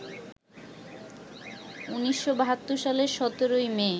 ১৯৭২ সালের ১৭ই মে